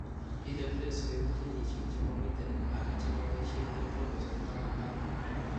PWS koibu genesiek chemomiten ala chemoboisie eng' choromosome taman ak muut